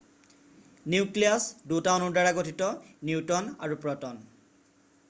nucleus 2টা অনুৰ দ্বাৰা গঠিত নিউট্ৰন আৰু প্ৰ'টন